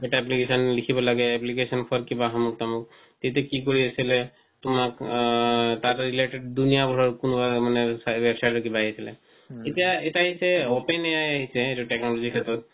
এটা application লিখিব লাগে application for কিবা হামুক তামুক তেন্তে কি কৰি আছিলে তোমাক আ তাতে related দুনিয়াভৰৰ কনো মানে website ৰ কিবা আহিছিলে এতিয়া এতিয়া আহিছে open AI আহিছে technology ৰ ক্ষেত্ৰত